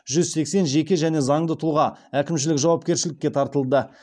жүз сексен жеке және заңды тұлға әкімшілік жауапкершілікке тартылды